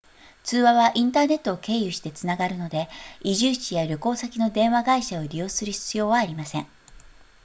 通話はインターネットを経由してつながるので居住地や旅行先の電話会社を利用する必要はありません